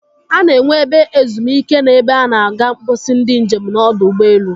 A na-enwe ebe ezum ike na ebe a na-aga mposi ndị njem n'ọdọ ụgbọelu.